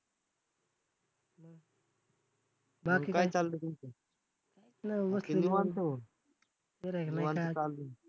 बाकी निवांत हो